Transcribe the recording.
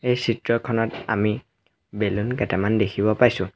এই চিত্ৰখনত আমি বেলুন কেইটামান দেখিব পাইছোঁ।